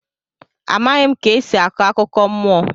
Amaghị ka esi akọ akụkọ mmụọ.